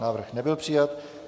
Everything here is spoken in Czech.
Návrh nebyl přijat.